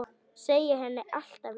Segja henni allt af létta.